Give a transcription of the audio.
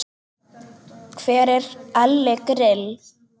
Hver er Elli Grill?